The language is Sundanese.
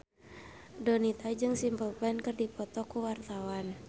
Donita jeung Simple Plan keur dipoto ku wartawan